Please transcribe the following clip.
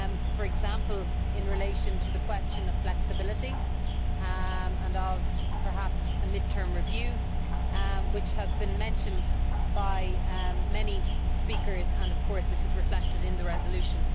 for example in relation to the question of flexibility and of, perhaps, a mid term review, which has been mentioned by many speakers and which is reflected in the resolution.